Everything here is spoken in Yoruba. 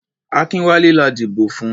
Akínwálé la dìbò fún.